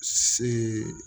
Si